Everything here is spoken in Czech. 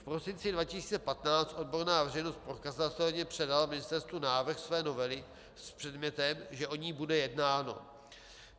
V prosinci 2015 odborná veřejnost prokazatelně předala ministerstvu návrh své novely s předmětem, že o ní bude jednáno.